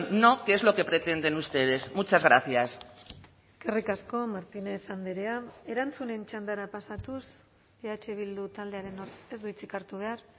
no que es lo que pretenden ustedes muchas gracias eskerrik asko martínez andrea erantzunen txandara pasatuz eh bildu taldearen ez du hitzik hartu behar